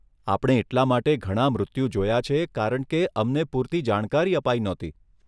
આપણે એટલાં માટે ઘણાં મૃત્યુ જોયા છે કારણકે અમને પૂર્તિ જાણકારી અપાઈ નહોતી.